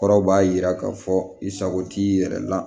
Kɔrɔw b'a jira k'a fɔ i sago t'i yɛrɛ la